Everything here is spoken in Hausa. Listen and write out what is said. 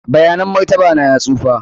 bayanan martaba na ya tsufa.